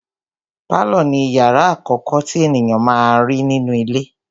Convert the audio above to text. Pálọ̀ ni ìyàrá àkọ́kọ́ tí ènìyàn má n rí nínú ilé.